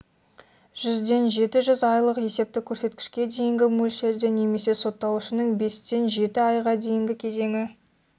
жүзден жеті жүз айлық есептік көрсеткішке дейінгі мөлшерде немесе сотталушының бестен жеті айға дейінгі кезеңі